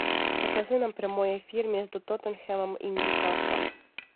покажи нам прямой эфир между тоттенхэмом и ньюкаслом